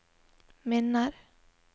minner